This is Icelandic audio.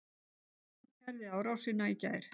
Stúlkan kærði árásina í gær.